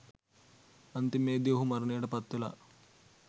අන්තිමේදී ඔහු මරණයට පත්වෙලා